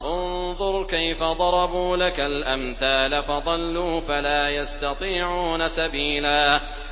انظُرْ كَيْفَ ضَرَبُوا لَكَ الْأَمْثَالَ فَضَلُّوا فَلَا يَسْتَطِيعُونَ سَبِيلًا